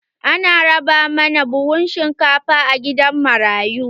An raba mana buhun shinkafa a gidan marayu.